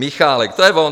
Michálek, to je on.